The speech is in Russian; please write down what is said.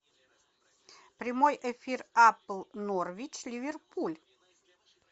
прямой эфир апл норвич ливерпуль